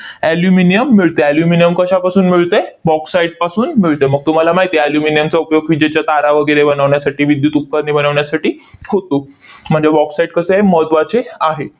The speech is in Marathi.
aluminium मिळते. aluminum कशापासून मिळते? bauxite पासून मिळते. मग तुम्हाला माहित आहे aluminum चा उपयोग विजेच्या तारा वगैरे बनवण्यासाठी, विद्युत उपकरणे बनवण्यासाठी होतो. म्हणजे bauxite कसं आहे? महत्त्वाचे आहे.